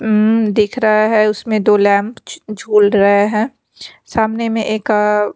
म्म दिख रहा है उसमें दो लैंप झ झूल रहे हैं सामने में एका--